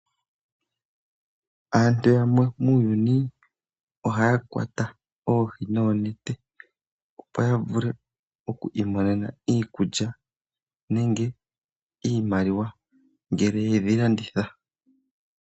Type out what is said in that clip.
Aantu yamwe muuyuni ohaya kwata oohi noonete opo ya vule oku imonena iikulya nenge iimaliwa ngele ye dhi landitha.